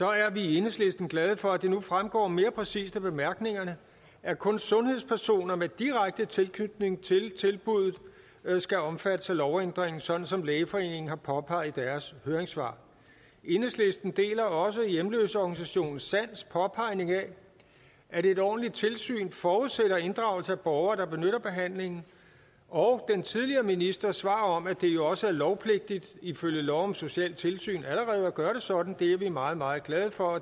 er vi i enhedslisten glade for at det nu fremgår mere præcist af bemærkningerne at kun sundhedspersoner med direkte tilknytning til tilbuddet skal omfattes af lovændringen sådan som lægeforeningen har påpeget i deres høringssvar enhedslisten deler også hjemløseorganisationen sands påpegning af at et ordentligt tilsyn forudsætter inddragelse af borgere der benytter behandlingen og den tidligere ministers svar om at det jo også er lovpligtigt ifølge lov om socialtilsyn allerede at gøre det sådan det er vi meget meget glade for